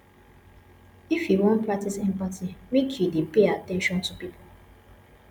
if you wan practice empathy make you dey pay at ten tion to pipo